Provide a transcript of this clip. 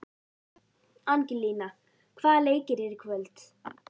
Angelína, hvaða leikir eru í kvöld?